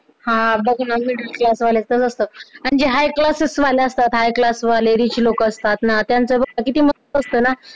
हा middle class वाल्याचाच असतात अन ते high class च वाले असतात, high class वाले rich लोक असतात ना त्यांचं बघ किती मस्त असतं ना